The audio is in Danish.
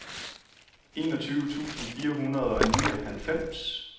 enogtyve tusind fire hundrede og nioghalvfems